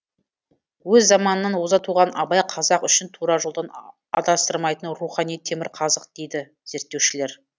өз заманынан оза туған абай қазақ үшін тура жолдан адастырмайтын рухани темірқазық дейді зерттеушілер